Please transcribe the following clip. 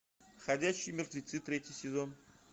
ходячие мертвецы третий сезон